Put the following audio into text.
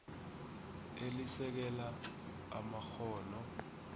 elisekela amakghono